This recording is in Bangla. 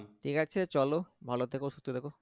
ঠিক আছে চলো ভালো থেকো সুস্থ থেকো